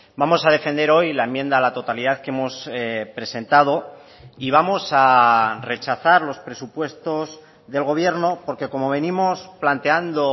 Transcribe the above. vamos a defender hoy la enmienda a la totalidad que hemos presentado y vamos a rechazar los presupuestos del gobierno porque como venimos planteando